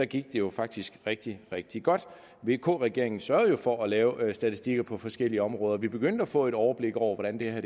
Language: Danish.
gik det jo faktisk rigtig rigtig godt vk regeringen sørgede for at lave statistikker på forskellige områder og vi begyndte at få et overblik over hvordan det her